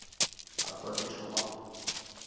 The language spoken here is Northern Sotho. ka kwa ke thoma go